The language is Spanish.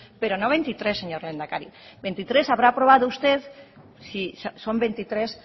pero no veintitrés señor lehendakari veintitres habrá aprobado usted si son veintitrés